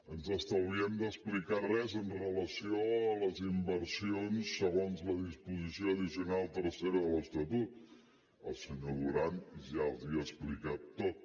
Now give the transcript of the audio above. ens estalviem d’explicar res amb relació a les inversions segons la disposició addicional tercera de l’estatut el senyor duran ja els ho ha explicat tot